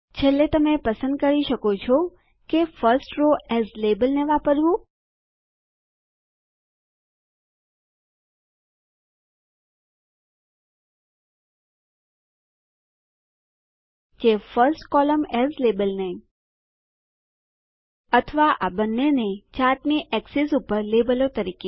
છેલ્લે તમે પસંદ કરી શકો છો કે ફર્સ્ટ રો એએસ લાબેલ ને વાપરવું કે ફર્સ્ટ કોલમ્ન એએસ લાબેલ ને અથવા આ બંનેને ચાર્ટની એક્સીસ ધરીઓ પર લેબલો તરીકે